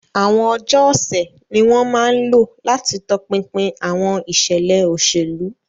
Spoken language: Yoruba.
Àwọn ọjọ́ ọ̀sẹ̀ ni wọ́n máa ń lò láti tọpinpin àwọn ìṣẹ̀lẹ̀ òṣèlú.